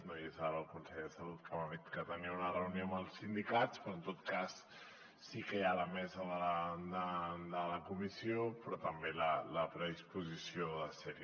no hi és ara el conseller de salut que m’ha dit que tenia una reunió amb els sindicats però en tot cas sí que hi ha la mesa de la comissió però també la predisposició de ser hi